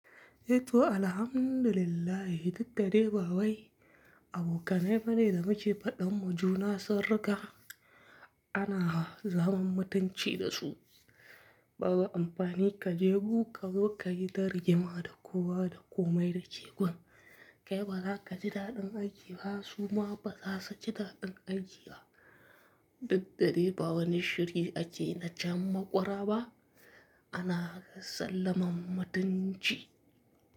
Eh to Alhamdulillahi, duk da dai ba wai abokanai bane da muke faɗan ma juna sirri ka ana zaman mutunci da su. Babu amfani ka je gu ka zo ka yi ta rigima da kowa da komai da ke gun. Kai bazaka ji daɗin aiki ba suma baza su ji daɗin aiki ba. Duk da dai ba wani shiri ake na can maƙwara ba ana sallamar mutunci.